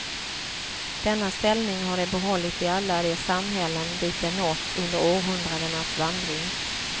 Denna ställning har de behållit i alla de samhällen dit de nått under århundradenas vandring.